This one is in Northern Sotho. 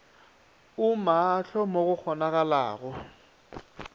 o maahlo mo go kgonagalago